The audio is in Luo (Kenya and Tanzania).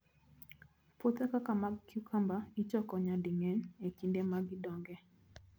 Puothe kaka mag cucumber ichoko nyading'eny e kinde ma gidongoe.